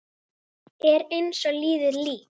Er eins og liðið lík.